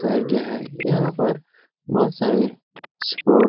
गया है यहाँ पर बोहत सारे प्रो --